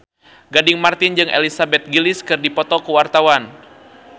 Gading Marten jeung Elizabeth Gillies keur dipoto ku wartawan